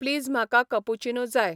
please म्हाका cappuccino जाय